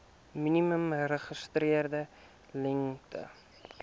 minimum geregistreerde lengte